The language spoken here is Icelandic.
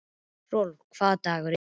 Rolf, hvaða dagur er í dag?